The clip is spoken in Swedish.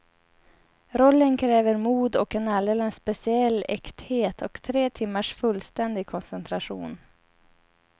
Rollen kräver mod och en alldeles speciell äkthet och tre timmars fullständig koncentration.